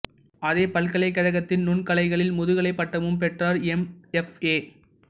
அதே பல்கலைக்கழகத்தில் நுண்கலைகளில் முதுகலை பட்டமும் பெற்றார் எம் எஃப் ஏ